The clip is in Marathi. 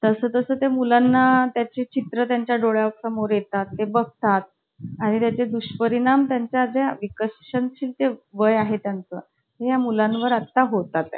आम्ही मग त्या चूल~ चूल बनवायचो. मग भा~ भांडी बनवायचो. फळं-बीळ बनवायचो. आंबा, डाळिंब अशी काय काय फळं बनवायचो. मज्जा यायची.